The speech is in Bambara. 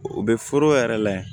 U bɛ foro yɛrɛ layɛ